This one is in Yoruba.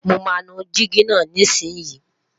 mọ má nu Digi nà ní isi yi